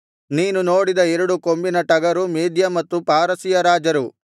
ನೀನು ನೋಡಿದ ಎರಡು ಕೊಂಬಿನ ಟಗರು ಮೇದ್ಯ ಮತ್ತು ಪಾರಸಿಯ ರಾಜರು